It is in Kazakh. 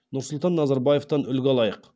нұрсұлтан назарбаевтан үлгі алайық